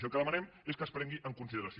i el que demanem és que es prengui en consideració